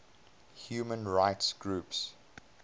human rights groups